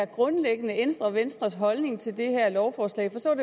grundlæggende ændrer venstres holdning til det her lovforslag for så er